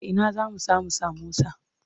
A ina zamu samu samosa?